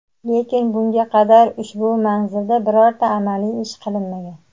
lekin bunga qadar ushbu manzilda birorta amaliy ish qilinmagan.